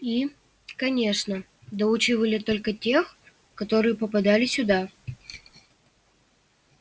и конечно доучивали только тех которые попадали сюда